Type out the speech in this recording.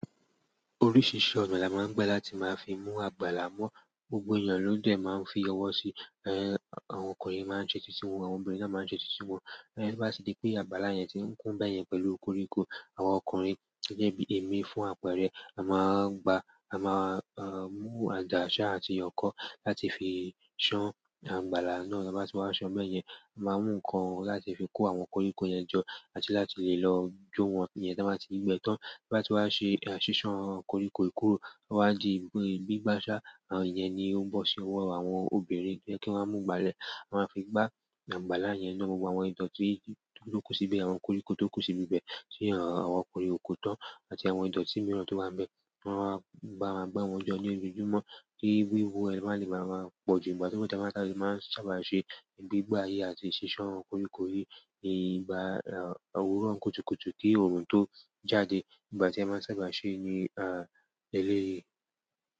Oríṣìṣìí ọ̀nà ni a máa ń gbẹ láti máa fi mú àgbàlá mọ́. Gbogbo èèyàn ló dẹ̀ máa ń fi ọwọ́ sí, ẹh, àwọn ọkùnrin máa ń ṣe títí wọ́n, àwọn obìnrin náà máa ń ṣe títí wọ́n. Bí bá ti ri pé àgbàlá yẹn ti ń kún bẹ́yẹn pẹ̀lú koríko, àwọn ọkùnrin, èmi fún àpẹẹrẹ, a máa gba, a máa, ẹh, mú àdá ṣá àti oko kó láti fi ṣán àgbàlá náà. Ta bá ti wá ṣán bẹ́ẹ̀yẹn, a máa mú nǹkan láti fi kó àwọn koríko yẹn jọ àti láti lè lọ jó wọn. Iyen tan ba ti gbe tan, ta ba ti wa se sisan koriko yi kúrò o wa di gbigba sa iyẹn ni ó ń bọ̀ sí ọwọ́ àwọn obìnrin pe kí wọ́n mú ìgbálẹ̀, wọ́n máa fi gbá àgbàlá yẹn náà gbogbo àwọn ìtọ́tú tó kú síbi, àwọn koríko tó kú síbi bẹ́ẹ̀ tí àwọn ọkùnrin ò kó tán àti àwọn ìtọ́tú mìíràn tó bá bẹ́, wọ́n máa gba, gba wọ́n jọ ní ojojúmọ́ kí wíwó ẹ́ lè máa lè máa pọ̀ jù. Ìgbà ti a dẹ maa n sábà se gbigba yi àti sisan yi. Ni ìgbà òwúrọ̀ kùtùkùtù ki oorun to jáde ìgbà tí a máa sábà se ní, ẹh, eléyìí.